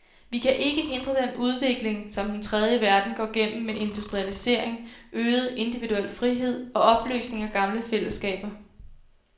Vi kan ikke hindre den udvikling, som den tredje verden går gennem med industrialisering, øget, individuel frihed og opløsning af gamle fællesskaber.